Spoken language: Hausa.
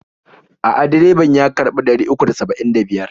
A'a, direban ya karɓi ɗari uku da saba'in da biyar.